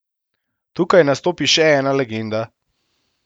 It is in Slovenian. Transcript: Tukaj nastopi še ena legenda.